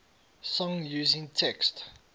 song using text